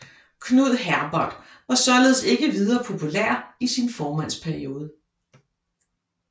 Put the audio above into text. Knud Herbert var således ikke videre populær i sin formandsperiode